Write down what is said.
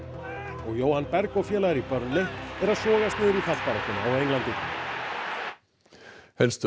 og Jóhann Berg og félagar í Burnley eru að sogast í fallbaráttuna á Englandi staða